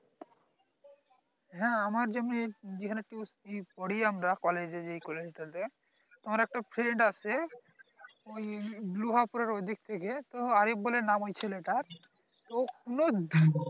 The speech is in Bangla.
হ্যাঁ আমার যেমনি যেখানে পড়ি আমরা college এ যে college টা তে তো আমার একটা friend আছে ওই ঐদিক থেকে তো আরিফ বলে নাম ওই ছেলে টার তো